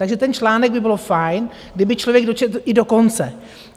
Takže ten článek by bylo fajn, kdyby člověk dočetl i do konce.